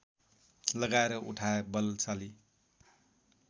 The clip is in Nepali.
लगाएर उठाए बलशाली